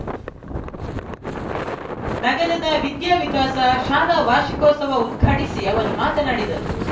ನಗರದ ವಿದ್ಯಾವಿಕಾಸ ಶಾಲಾ ವಾರ್ಷಿಕೋತ್ಸವ ಉದ್ಘಾಟಿಸಿ ಅವರು ಮಾತನಾಡಿದರು